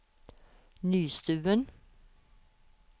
Nystuen